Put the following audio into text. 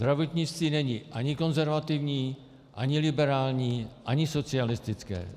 Zdravotnictví není ani konzervativní, ani liberální, ani socialistické.